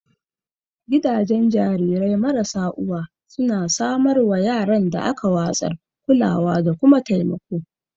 Gidajen jarirai marasa uwa suna samar wa yaran da aka watsar kulawa da kuma taimako